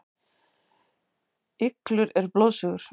Iglur eru blóðsugur.